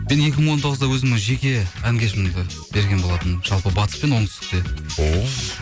мен екі мың он тоғызда өзімнің жеке ән кешімді берген болатынмын жалпы батыс пен оңтүстікте о